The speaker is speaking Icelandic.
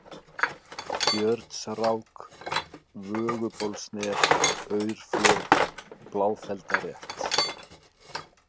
Björnsrák, Vögubólsnef, Aurflög, Bláfeldarrétt